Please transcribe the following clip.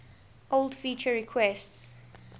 old feature requests